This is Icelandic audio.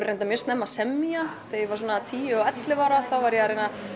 reyndar mjög snemma að semja þegar ég var svona tíu og ellefu ára var ég að reyna að